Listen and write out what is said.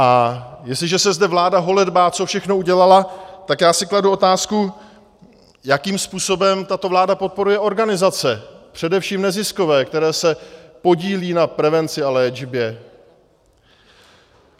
A jestliže se zde vláda holedbá, co všechno udělala, tak já si kladu otázku, jakým způsobem tato vláda podporuje organizace, především neziskové, které se podílejí na prevenci a léčbě.